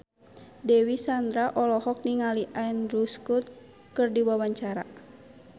Dewi Sandra olohok ningali Andrew Scott keur diwawancara